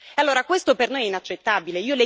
Allora, questo per noi inaccettabile.